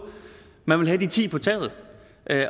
men man ville have de ti på taget